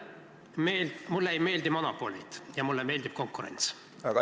Härra ettekandja, mulle ei meeldi monopolid ja mulle meeldib konkurents.